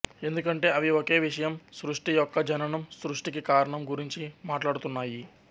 ఎందుకంటే అవి ఒకే విషయం సృష్టి యొక్క జననం సృష్టికి కారణం గురించి మాట్లాడుతున్నాయి